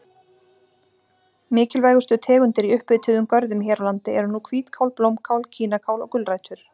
Mikilvægustu tegundir í upphituðum görðum hér á landi eru nú hvítkál, blómkál, kínakál og gulrætur.